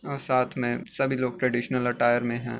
और साथ में सभी लोग ट्रेडिशनल अटायर में है।